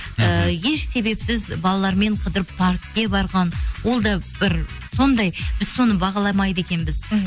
ыыы еш себепсіз балалармен қыдырып паркке барған ол да бір сондай біз соны бағаламайды екенбіз мхм